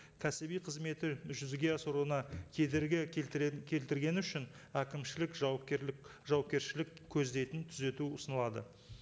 кәсіби қызметі жүзеге асыруына кедергі келтіргені үшін әкімшілік жауапкершілік көздейтін түзету ұсынылады